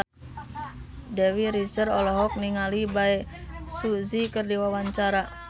Dewi Rezer olohok ningali Bae Su Ji keur diwawancara